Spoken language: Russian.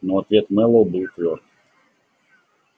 но ответ мэллоу был твёрд